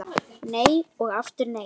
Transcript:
Nei og aftur nei